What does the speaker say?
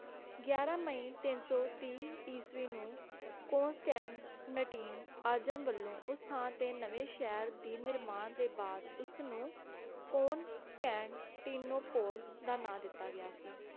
ਗਿਆਰਾਂ ਮਈ ਤਿੰਨ ਸੌ ਤੀਹ ਇਸਵੀਂ ਨੂੰ ਕੌਂਸਟੈਂਟਨਟੀਨ ਆਜ਼ਮ ਵੱਲੋਂ ਉਸ ਸ਼ਹਿਰ ਦੇ ਨਿਰਮਾਣ ਤੋਂ ਬਾਅਦ ਉਸਨੂੰ ਕੌਂਸਟੈਂਟਨੋਪੋਲ ਦਾ ਨਾਮ ਦਿੱਤਾ ਗਿਆ ਸੀ